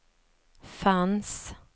fanns